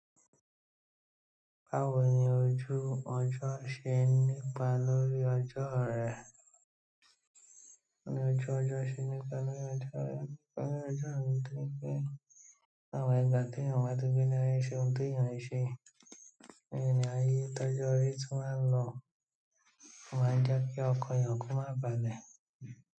Báwo ni ojú ọjọ́ ṣe ń nípa lórí ọjọ́ rẹ? O ni ojú ọjọ́ ṣe ń nípa lórí ọjọ́ rẹ? Àwọn ìgbà tí èèyàn wá tó gbé lé ayé ṣe ohun tó eeyàn ṣe, ènìyàn yí tọ́jú ayé tí wọ́n ń lọ, o máa ń jẹ́ kí ọkàn èèyàn ko má bàlẹ̀.